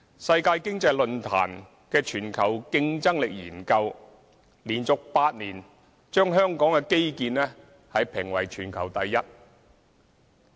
世界經濟論壇的全球競爭力研究連續8年，把香港的基建評為全球第一。